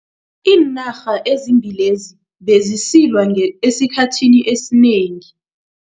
Iinarha ezimbili lezi bezisilwa esikhathini esinengi.